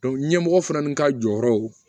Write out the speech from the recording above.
ɲɛmɔgɔ fana ka jɔyɔrɔw